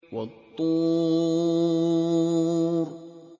وَالطُّورِ